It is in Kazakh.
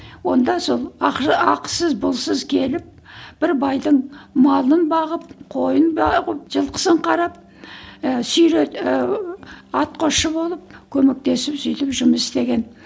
онда сол ақысыз пұлсыз келіп бір байдың малын бағып қойын бағып жылқысын қарап і ііі атқосшы болып көмектесіп сөйтіп жұмыс істеген